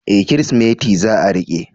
E! Kirsimeti za a riƙe.